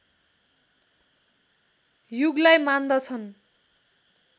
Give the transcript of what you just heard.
युगलाई मान्दछन्